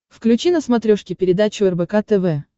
включи на смотрешке передачу рбк тв